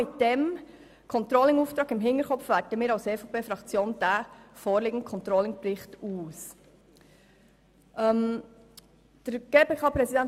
Mit diesem Controlling-Auftrag im Hinterkopf hat die EVP-Fraktion den vorliegenden Controlling-Bericht ausgewertet.